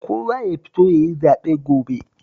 Kowa ya fito ya yi zaɓe gobe